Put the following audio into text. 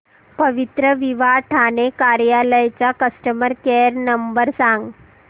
पवित्रविवाह ठाणे कार्यालय चा customer care number सांग